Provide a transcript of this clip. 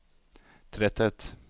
tretthet